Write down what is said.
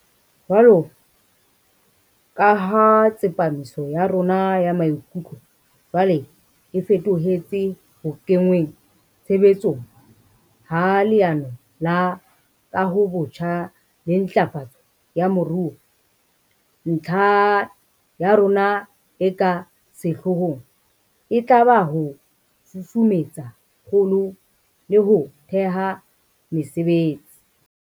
Jwaloka ha tsepamiso ya rona ya maikutlo jwale e feto hetse ho kenngweng tshebe tsong ha Leano la Kahobotjha le Ntlafatso ya Moruo, ntlha ya rona e ka sehloohong e tla ba ho susumetsa kgolo le ho thea mesebetsi.